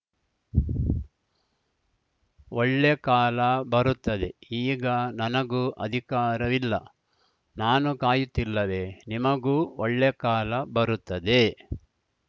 ಒಳ್ಳೆ ಕಾಲ ಬರುತ್ತದೆ ಈಗ ನನಗೂ ಅಧಿಕಾರವಿಲ್ಲ ನಾನು ಕಾಯುತ್ತಿಲ್ಲವೇ ನಿಮಗೂ ಒಳ್ಳೆ ಕಾಲ ಬರುತ್ತದೆ